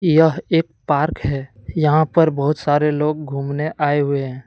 यह एक पार्क है यहां पर बहुत सारे लोग घूमने आए हुए हैं।